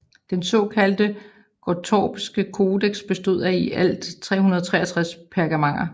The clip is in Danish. Den såkaldte Gottorpske Codex bestod af i alt 363 pergamenter